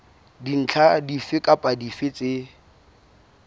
dintlha dife kapa dife tse